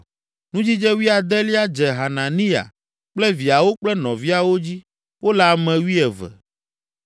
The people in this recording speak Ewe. Nudzidze wuiadelia dze Hananiya kple viawo kple nɔviawo dzi; wole ame wuieve.